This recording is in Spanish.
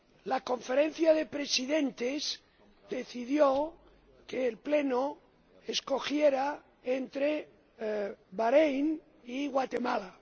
La Conferencia de Presidentes decidió que el Pleno escogiera entre Baréin y Guatemala.